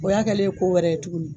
O y'a kɛlen ye ko wɛrɛ ye tuguni